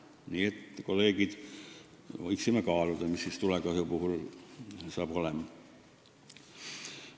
Nii et, kolleegid, võiksime kaaluda, mis siis tulekahju puhul saab olema.